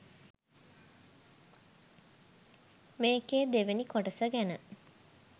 මේකේ දෙවැනි කොටස ගැන